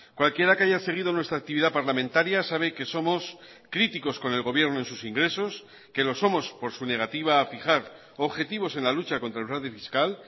cualquiera que haya seguido nuestra actividad parlamentaria sabe que somos críticos con el gobierno en sus ingresos que lo somos por su negativa a fijar objetivos en la lucha contra el fraude fiscal